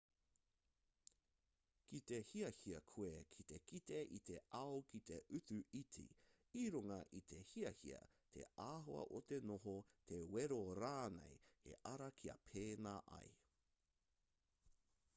ki te hiahia koe ki te kite i te ao ki te utu iti i runga i te hiahia te āhua o te noho te wero rānei he ara kia pēnā ai